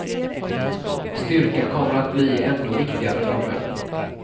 Styrkan kommer att bli ändå viktigare framöver.